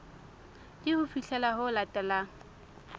ke ho fihlela ho latelang